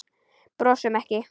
Brosum ekki.